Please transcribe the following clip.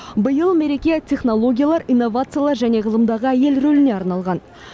биыл мереке технологиялар инновациялар және ғылымдағы әйел рөліне арналған